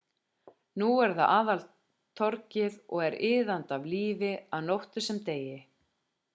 núna er það aðaltorgið og er iðandi af lífi að nóttu sem degi